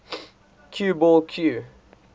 cue ball cue